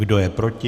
Kdo je proti?